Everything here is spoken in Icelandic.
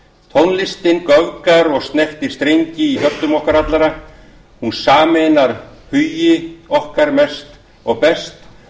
tónlistin göfgar og snertir streng í hjörtum okkar allra hún sameinar hugi okkar mest og best